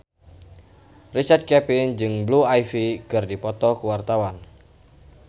Richard Kevin jeung Blue Ivy keur dipoto ku wartawan